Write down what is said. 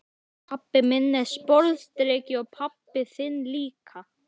Pabbi minn er sporðdreki og pabbi þinn líka.